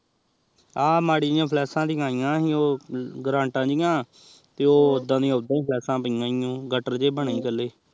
ਆਹ ਮਾਰੀ ਹੀ ਕ੍ਲਾਸੇੱਸ ਦਿਖਾਈ ਜੀ ਗ੍ਰਾਂਤੀ ਓਹਦਾ ਹੀ ਕ੍ਲਾਸੇੱਸ ਹੀ ਪਾਇਆ ਗਾਤਰ ਜੇ ਬਣੇ ਪਹਲੇ